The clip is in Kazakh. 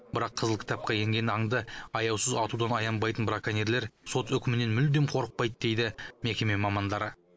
бірақ қызыл кітапқа енген аңды аяусыз атудан аянбайтын браконьерлер сот үкімінен мүлдем қорықпайды дейді мекеме мамандары